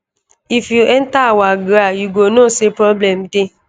if you enta our gra you go know say problem dey